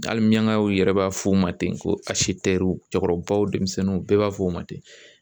Hali miyankaw yɛrɛ b'a f'u ma ten ko cɛkɔrɔbaw denmisɛnninw bɛɛ b'a fɔ o ma ten